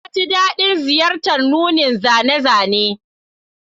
Na ji daɗin ziyartar nunin zane-zane